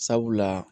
Sabula